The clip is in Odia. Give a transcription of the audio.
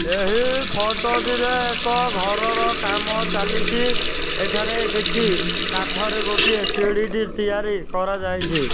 ଏହି ଫଟ ଟିରେ ଏକ ଘରର କାମ ଚାଲିଚି। ଏଠାରେ କିଛି କାଠରେ ଗୋଟିଏ ସିଢିଟି ତିଆରି କରାଯାଇଛି।